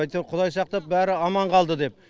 әйтеуір құдай сақтап бәрі аман қалды деп